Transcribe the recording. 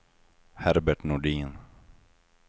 Herbert Nordin